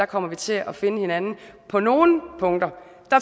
kommer til at finde hinanden på nogle punkter